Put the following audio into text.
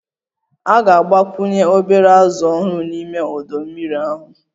A ga-agbakwunye obere azụ ọhụrụ n'ime ọdọ mmiri ahụ